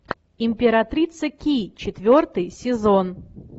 императрица ки четвертый сезон